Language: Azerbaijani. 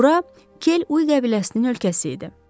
Bura Kel Uy qəbiləsinin ölkəsi idi.